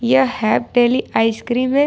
यह Hap Daily ice cream है।